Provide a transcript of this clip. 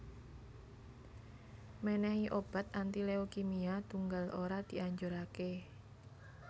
Mènèhi obat anti leukimia tunggal ora dianjuraké